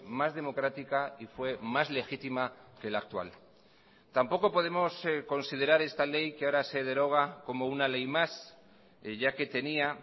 más democrática y fue más legítima que la actual tampoco podemos considerar esta ley que ahora se deroga como una ley más ya que tenía